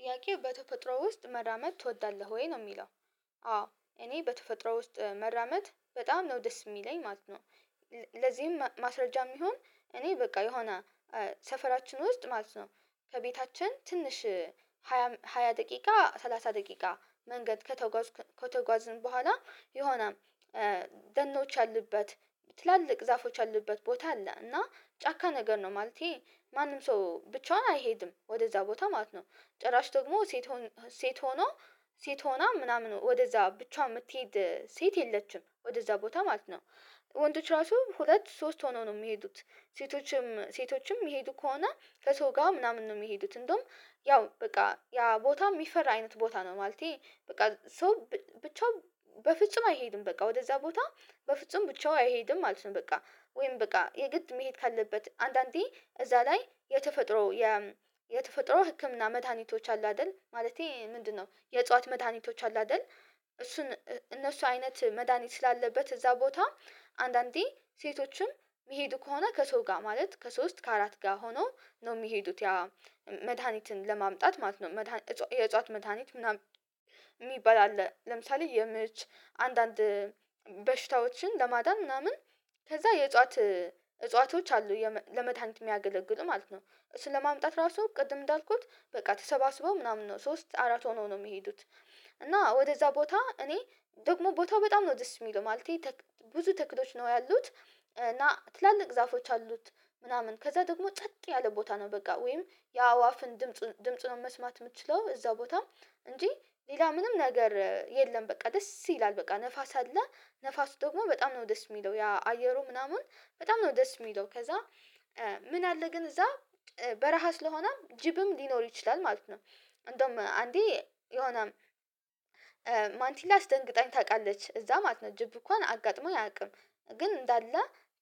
ጥያቄው በተፈጥሮ ውስጥ መራመድ ትወዳለህ ወይ? ነው የሚለው። አዎ! እኔ በተፈጥሮ ውስጥ መራመድ በጣም ነው ደስ የሚለኝ ማለት ነው። ለዚህም ማስረጃ የሚሆን እኔ በቃ የሆነ ሰፈራችን ውስጥ ማለት ነው ከቤታችን ትንሽ ሃያ ደቂቃ ሰላሳ ደቂቃ መንገድ ከተጓዝን በኋላ የሆነ ደኖች ያሉበት፤ ትላልቅ ዛፎች አለበት፤ ቦታ አለ። እና ጫካ ነገር ነው። ማንም ሰው ብቻውን አይሄድም። ወደእዛ ቦታ ማለት ነው። ጭራሽ ደግሞ ሴት ሆና ወደእዛ ብቻዋን የምትሄድ ሴት የለችም። ወደእዛ ቦታ ማለት ነው። ወንዶች ራሱ ሁለት ሶስት ሆነው ነው የሚሄዱት። ሴቶችም የሚሄዱ ከሆነ ከሰው ጋር ምናምን ነው የሚሄዱት። እንደውም ያው በቃ ያ ቦታ የሚፈራ አይነት ቦታ ነው። በቃ! ሰው ብቻውን በፍጹም አይሄድም። በቃ! ወደዛ ቦታ በፍጹም ብቻውን አይሄድም ማለት ነው። ወይም የግድ መሄድ ካለበት አንዳንዴ እዛ ላይ የተፈጥሮ የተፈጥሮ ህክምና መድኃኒቶች አሉ አይደል? የእጽዋት መድኃኒቶች አሉ አይደል? እንደሱ አይነት መድሃኒት ስላለበት እዛ ቦታ አንዳንዴ ሴቶችም የሚሄዱ ከሆነ ከሰው ጋር ማለት ከሶስት ከአራት ጋር ሆኖ ነው የሚሄዱት። መድሃኒትን ለማምጣት ማለት ነው። የእጽዋት መድሃኒት የሚባል አለ ለምሳሌ:- የምች አንዳንድ በሽታዎችን ለማዳን ምናምን ከዛ የእጽዋት እጽዋቶች አሉ ለመድሃኒት የሚያገለግሉ ማለት ነው። እሱን ለማምጣት ራሱ ቅድም እንዳልኩት በቃ ተሰባስበው ምናምን ነው ሶስት አራት ሆነው ነው የሚሄዱት። ደግሞ ቦታው በጣም ነው ደስ የሚለው ማለቴ ብዙ ተክሎች ነው ያሉት እና ትላልቅ ዛፎች አሉት። ምናምን ከዛ ደግሞ ጸጥ ያለ ቦታ ነው። ወይም የአዋፍን ድምጽ ነው መስማት የምትችለው እዛ ቦታ እንጂ ሌላ ምንም ነገር የለም በቃ ደስ ይላል በቃ! ንፋስ አለ። ንፋሱ ደግሞ በጣም ነው ደስ የሚለው። አየሩ ምናምን በጣም ነው ደስ የሚለው። ከዛ ምን አለ ግን እዛ በረሃ ስለሆነም ጅብም ሊኖር ይችላል ማለት ነው። እንደውም አንዴ የሆነ ማንቲላ አስደንግጣኝ ታውቃለች። እዛ ማለት ነው ጅብ እንኳን አጋጥሞኝ አያውቅም። ግን እንዳለ